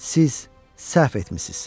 Siz səhv etmisiz.